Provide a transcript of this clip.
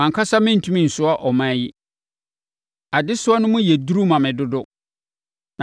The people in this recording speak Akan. Mʼankasa merentumi nsoa ɔman yi! Adesoa no mu yɛ duru ma me dodo!